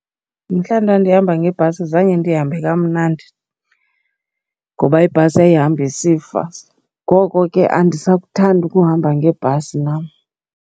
Mhla ndandihamba ngebhasi zange ndihambe kamnandi ngoba ibhasi yayihamba isifa. Ngoko ke andisakuthandi ukuhamba ngebhasi nam.